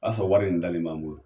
fɔ wari in bilalen b'an bolo.